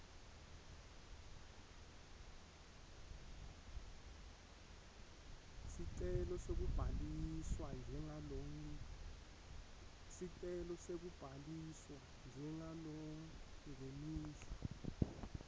sicelo sekubhaliswa njengalongenisa